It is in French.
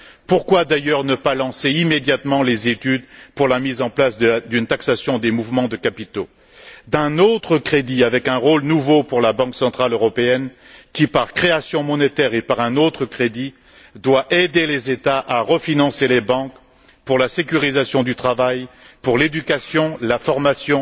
Pourquoi d'ailleurs ne pas lancer immédiatement les études pour la mise en place d'une taxation des mouvements de capitaux, d'un autre crédit avec un rôle nouveau pour la Banque centrale européenne, qui par création monétaire et par un autre crédit, doit aider les États à refinancer les banques pour la sécurisation du travail, pour l'éducation, pour la formation,